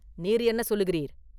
நீர் என்ன சொல்லுகிறீர்?